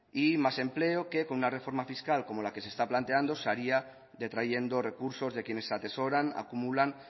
y más empleo que con una reforma fiscal como lo que se está planteando se haría detrayendo recursos de quienes atesoran acumulan